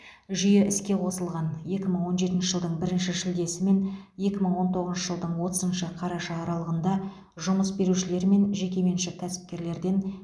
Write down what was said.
жүйе іске қосылған екі мың он жетінші жылдың бірінші шілдесі мен екі мың он тоғызыншы жылдың отызыншы қараша аралығында жұмыс берушілер мен жекеменшік кәсіпкерлерден